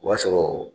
O b'a sɔrɔ